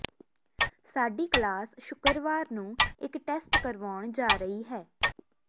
ਸਾਡੀ ਕਲਾਸ ਸ਼ੁੱਕਰਵਾਰ ਨੂੰ ਇਕ ਟੈਸਟ ਕਰਵਾਉਣ ਜਾ ਰਹੀ ਹੈ